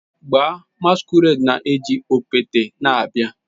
Gbaa, masquerade na-eji okpete na-abịa